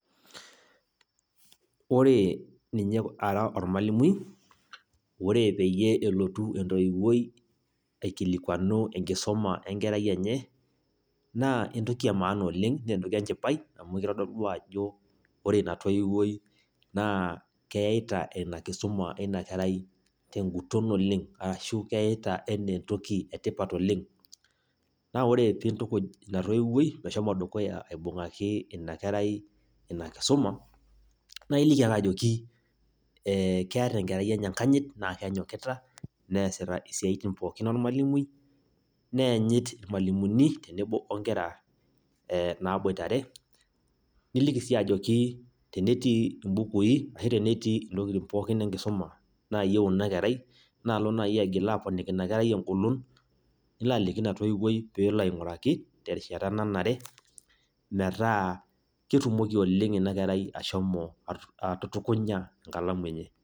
Ore ninye ara ormalimui, ore peyie elotu entoiwuoi aikilikwanu enkisuma enkerai enye, naa entoki emaana oleng, nentoki enchipai, amu kitodolu ajo ore ina toiwuoi naa keita ina kisuma ina kerai teguton oleng, arashu keita enaa entoki etipat oleng. Na ore pintukuj ina toiwuoi meshomo dukuya aibung'aki inakerai inakisuma, na iliki ake ajoki, keeta enkerai enye enkanyit, na kenyokita, neesita isiaitin pookin ormalimui, neenyit irmalimuni tenebo onkera naboitare, niliki si ajoki tenetii ibukui, ashu tenetii intokiting pookin enkisuma naayieu inakerai, naalo nai aigil aponiki inakerai egolon, nilo aliki ina toiwuoi peelo aing'uraki, terishata nanare, metaa ketumoki oleng inakerai ashomo atutukunya enkalamu enye.